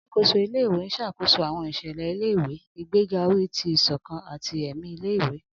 Alakoso ile-iwe n ṣakoso àwọn iṣẹlẹ ile-iwe, igbega ori ti isokan ati ẹmi ile-iwe.